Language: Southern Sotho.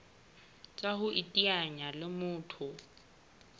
tsa ho iteanya le motho